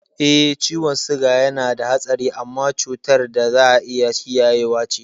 Eh, ciwon siga yanada hatsari amma cutar da za'a iya kiyayewa ce.